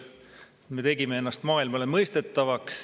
Me tegime ennast maailmale mõistetavaks.